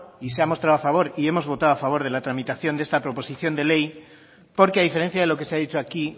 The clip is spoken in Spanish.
y se ha mostrado a favor y hemos votado a favor de la tramitación de esta proposición de ley porque a diferencia de lo que se ha dicho aquí